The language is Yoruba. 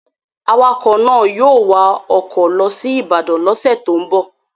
Awakọ̀ náà yóò wakọ̀ lọ sí Ibadan lọ́sẹ̀ tó ń bọ̀